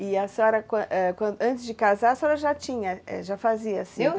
E a senhora, antes de casar, a senhora já tinha, já fazia assim?